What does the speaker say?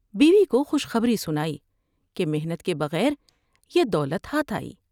بیوی کو خوش خبری سنائی کہ محنت کے بغیر یہ دولت ہاتھ آئی ۔